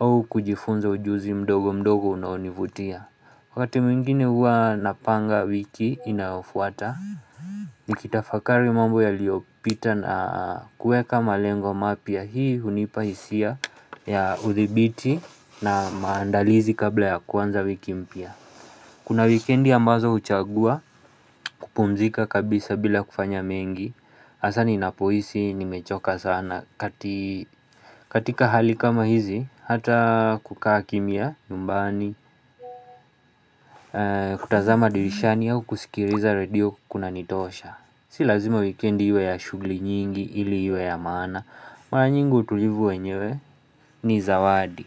au kujifunza ujuzi mdogo mdogo unaonivutia. Wakati mwingine huwa napanga wiki inayofuata Nikitafakari mambo ya liopita na kueka malengo mapya hii hunipahisia ya udhibiti na maandalizi kabla ya kwanza wiki mpya Kuna wikendi ambazo uchagua kupumzika kabisa bila kufanya mengi Asani inapoisi nimechoka sana katika hali kama hizi hata kukaa kimia nyumbani kutazama dirishani au kusikiriza radio kuna nitosha Si lazima weekendi yu ya shugli nyingi ili yu ya maana Mara nyingi utulivu wenyewe ni zawadi.